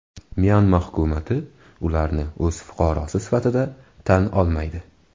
Myanma hukumati ularni o‘z fuqarosi sifatida tan olmaydi.